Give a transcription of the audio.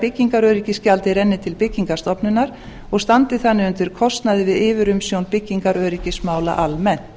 byggingaröryggisgjaldið renni til byggingarstofnunar og standi þannig undir kostnaði við yfirumsjón byggingaröryggismála almennt